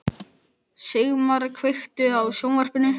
Sigmar, kveiktu á sjónvarpinu.